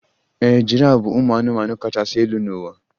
Ee, giraf bụ ụmụ anụmanụ kachasị elu n'ụwa